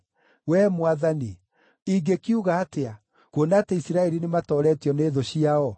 Wee Mwathani, ingĩkiuga atĩa, kuona atĩ Isiraeli nĩmatooretio nĩ thũ ciao?